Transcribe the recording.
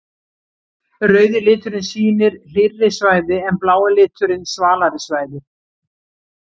Rauði liturinn sýnir hlýrri svæði en blái liturinn svalari svæði.